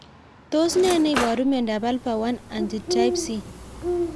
Tos ne neipu miondop Alpha 1 antitrypsin